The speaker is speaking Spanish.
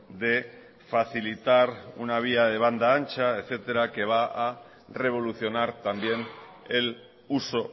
de facilitar una vía de banda ancha etcétera que va a revolucionar también el uso